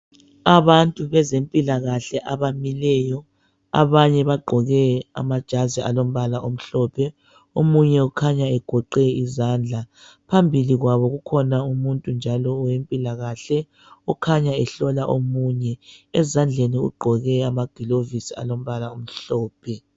Abantu bezempilakahle abamileyo. Abanye bagqoke amajazi alombala omhlophe. Omunye ukhanya egoqe izandla. Phambili kwabo kukhona umuntu njalo wempilakahle okhanya ehlola omunye. Ezandleni ugqoke amagilovisi alombala omhlophe.